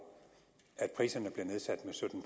at priserne blev nedsat med sytten